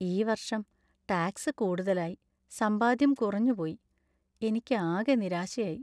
ഈ വർഷം ടാക്സ് കൂടുതലായി സമ്പാദ്യം കുറഞ്ഞു പോയി. എനിക്ക് ആകെ നിരാശയായി.